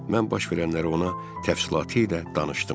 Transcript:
Mən baş verənləri ona təfsilatı ilə danışdım.